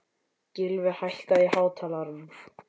Gylfi, hækkaðu í hátalaranum.